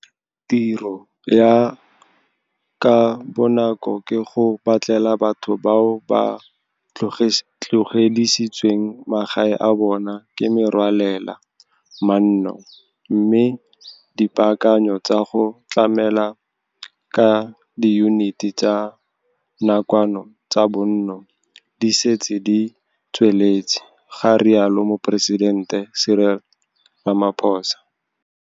Tiro ya ka bonako ke go batlela batho bao ba tlogedisitsweng magae a bona ke merwalela manno mme dipaakanyo tsa go tlamela ka diyuniti tsa nakwano tsa bonno di setse di tsweletse, ga rialo Moporesidente Ramaphosa.